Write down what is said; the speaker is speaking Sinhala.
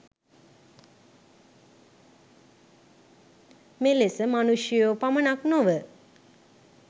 මෙලෙස මනුෂ්‍යයෝ පමණක් නොව